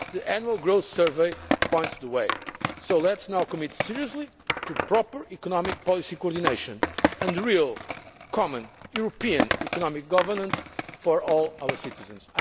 jobs. The Annual Growth Survey points the way. So let us now commit seriously to proper economic policy coordination and real common European economic governance for all our